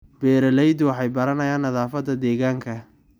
Beeraleydu waxay baranayaan nadaafadda deegaanka.